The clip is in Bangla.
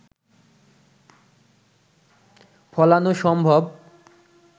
ফলানো সম্ভব